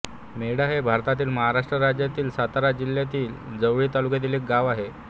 मेढा हे भारतातील महाराष्ट्र राज्यातील सातारा जिल्ह्यातील जावळी तालुक्यातील एक गाव आहे